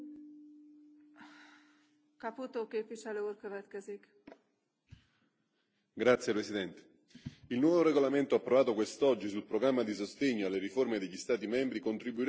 Il nuovo regolamento approvato quest'oggi sul programma di sostegno alle riforme degli Stati membri contribuirà all'attuazione di misure volte a migliorare le istituzioni, la governance, l'amministrazione, l'economia e i settori locali.